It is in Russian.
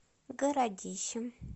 городищем